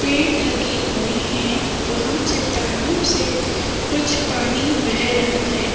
पेड़ लगे हुए हैं। वहाँ चट्टानों से कुछ पानी बेह रहा है।